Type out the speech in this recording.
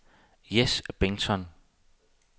Jes Bengtsson